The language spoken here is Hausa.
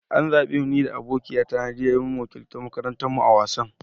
An zabe ni da abokiya ta Nadiya mu wakiltar makarantan mu a'wasan.